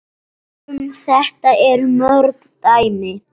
Um þetta eru mörg dæmi.